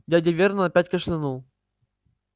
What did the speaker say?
дядя вернон опять кашлянул